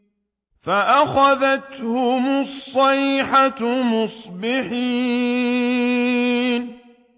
فَأَخَذَتْهُمُ الصَّيْحَةُ مُصْبِحِينَ